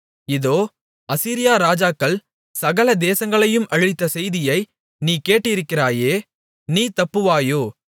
இதோ அசீரியா ராஜாக்கள் சகல தேசங்களையும் அழித்த செய்தியை நீ கேட்டிருக்கிறாயே நீ தப்புவாயோ